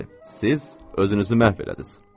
Bəli, siz özünüzü məhv elədiniz.